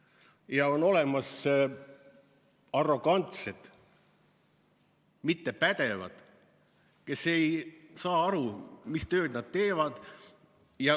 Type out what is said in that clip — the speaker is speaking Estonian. Ja on olemas arrogantsed, ebapädevad juhid, kes ei saa aru, mis tööd nad teevad.